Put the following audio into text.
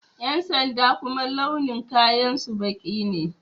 Ƴan sanda kuma launin kayan su baƙi ne